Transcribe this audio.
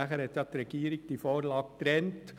Anschliessend hat die Regierung die Vorlagen getrennt.